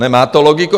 Nemá to logiku?